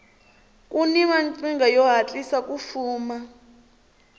kuni maqhinga yo hatlisa ku fuma